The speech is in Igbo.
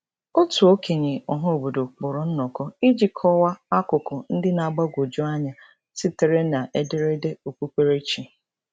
Otu okenye ọhaobodo kpọrọ nnọkọ iji kọwa akụkụ ndị na-agbagwoju anya sitere n’ederede okpukperechi.